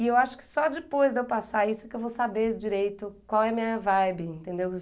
E eu acho que só depois de eu passar isso que eu vou saber direito qual é a minha vibe, entendeu?